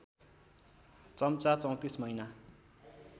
चम्चा ३४ महिना